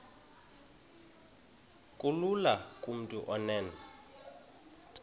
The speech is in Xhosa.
kulula kumntu onen